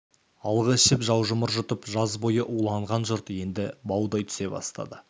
алғы ішіп жаужұмыр жұтып жаз бойы уланған жұрт енді баудай түсе бастады